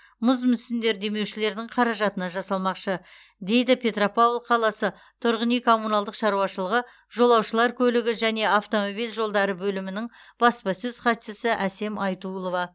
мұз мүсіндер демеушілердің қаражатына жасалмақшы дейді петропавл қаласы тұрғын үй коммуналдық шаруашылығы жолаушылар көлігі және автомобиль жолдары бөлімінің баспасөз хатшысы әсем айтулова